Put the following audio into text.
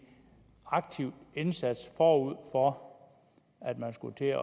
aktiv indsats forud for at man skulle til